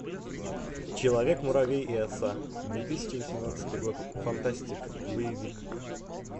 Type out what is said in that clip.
человек муравей и оса две тысячи восемнадцатый год фантастика боевик